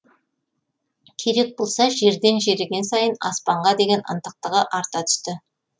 керек болса жерден жеріген сайын аспанға деген ынтықтығы арта түсті